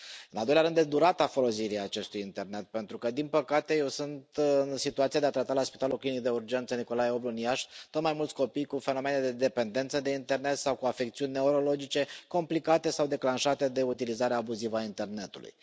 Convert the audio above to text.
În al doilea rând, este vorba de durata folosirii acestui internet, pentru că, din păcate, eu sunt în situația de a trata la Spitalul Clinic de Urgență Nicolae Oblu din Iași tot mai mulți copii cu fenomene de dependență de internet sau cu afecțiuni neurologice complicate sau declanșate de utilizarea abuzivă a internetului.